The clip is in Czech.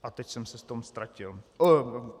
A teď jsem se v tom ztratil.